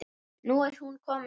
Nú er hún komin heim.